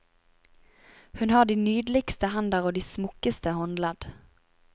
Hun har de nydeligste hender og de smukkeste håndledd.